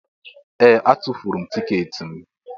Ee! Atụfuru m tiketi m.